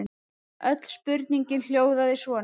Öll spurningin hljóðaði svona: